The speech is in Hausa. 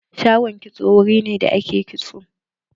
Shagon kitso wuri ne da ake kitso.